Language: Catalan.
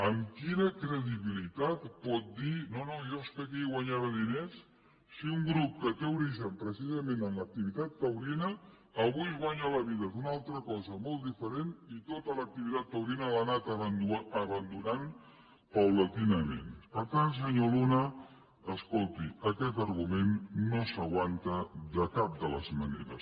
amb quina credibilitat pot dir no no jo és que aquí guanyava diners si un grup que té origen precisament en l’activitat taurina avui es guanya la vida amb una altra cosa molt diferent i tota l’activitat taurina l’ha anat abandonant gradualment per tant senyor luna escolti aquest argument no s’aguanta de cap de les maneres